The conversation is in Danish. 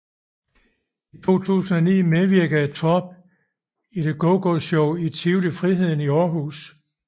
I 2009 medvirkede Torp i The GoGo Show i Tivoli Friheden i Aarhus